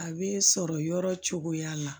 A bɛ sɔrɔ yɔrɔ cogoya la